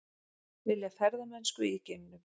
Vilja ferðamennsku í geimnum